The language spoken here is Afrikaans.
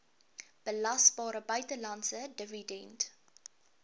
belasbare buitelandse dividend